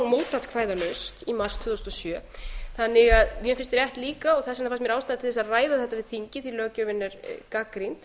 tvö þúsund og sjö þannig að mér finnst rétt líka og þess vegna fannst mér ástæða til þess að ræða þetta við þingið því löggjöfin er gagnrýnd